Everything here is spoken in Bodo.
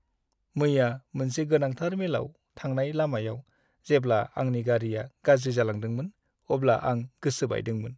मैया मोनसे गोनांथार मेलाव थांनाय लामायाव जेब्ला आंनि गारिआ गाज्रि जालांदोंमोन अब्ला आं गोसो बायदोंमोन।